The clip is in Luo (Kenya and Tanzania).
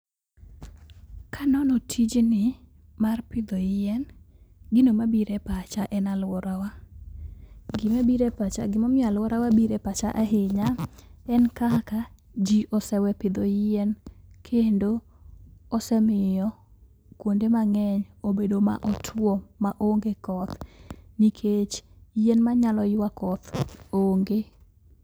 Kanono tijni mar pidho yien, gino mabiro e pacha en aluorawa . Gima bire pacha gimomiyo aluorawa bire pacha ahinya en kaka: jii osewe pidho yien kendo osemiyo kuonde mang'eny obedo ma otuo maonge koth nikech yien manyalo yua koth onge.